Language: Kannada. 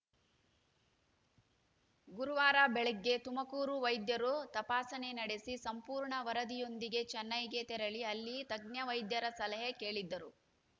ಗುರುವಾರ ಬೆಳಗ್ಗೆ ತುಮಕೂರು ವೈದ್ಯರು ತಪಾಸಣೆ ನಡೆಸಿ ಸಂಪೂರ್ಣ ವರದಿಯೊಂದಿಗೆ ಚೆನ್ನೈಗೆ ತೆರಳಿ ಅಲ್ಲಿ ತಜ್ಞ ವೈದ್ಯರ ಸಲಹೆ ಕೇಳಿದ್ದರು